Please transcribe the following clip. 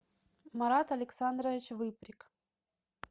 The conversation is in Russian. марат александрович выприк